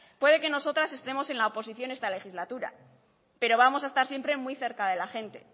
puede que nosotras estemos en la oposición esta legislatura pero vamos a estar siempre muy cerca de la gente